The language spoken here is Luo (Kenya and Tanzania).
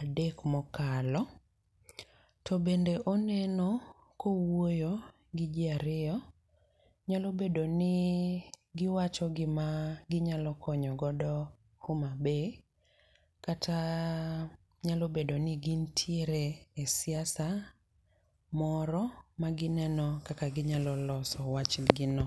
adek mokalo. To bende oneno kowuoyo gi ji ariyo. Nyalobedo ni giwacho gam ginyalo konyo godo Homa Bay kata nyalo bedo ni gintiere e siasa moro ma gineno kaka ginyalo loso wach gi no.